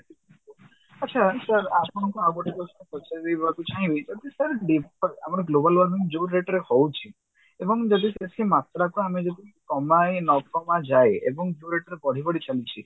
ଆଚ୍ଛା sir ଆପଣଙ୍କୁ ଆଉ ଗୋଟେ question ପଚାରିବି ଭାବୁଛି ଯଦି sir ଆମର global warming ଯଉ rate ରେ ହଉଛି ଏବଂ ଯଦି ବେଶୀ ମାତ୍ରାକୁ ଆମେ ଯଦି କମାଇ ନକମା ଯାଏ ଏବଂ ଯଉ rate ରେ ବଢି ବଢି ଚାଲିଛି